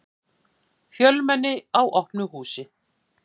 Fjölmenni á opnu húsi